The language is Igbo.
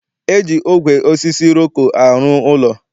E ji ogwe osisi iroko arụ ụlọ.